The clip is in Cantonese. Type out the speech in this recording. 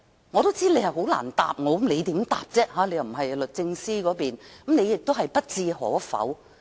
我也知道他很難回答，因他並非律政司官員，所以他亦不置可否。